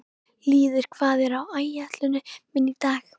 Lýður, hvað er á áætluninni minni í dag?